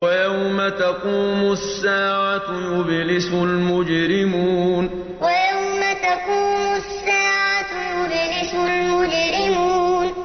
وَيَوْمَ تَقُومُ السَّاعَةُ يُبْلِسُ الْمُجْرِمُونَ وَيَوْمَ تَقُومُ السَّاعَةُ يُبْلِسُ الْمُجْرِمُونَ